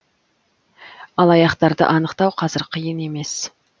алаяқтарды анықтау қазір қиын емес